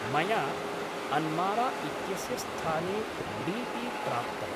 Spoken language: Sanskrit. मया अन्मारा इत्यस्य स्थाने डी पी प्राप्तम्।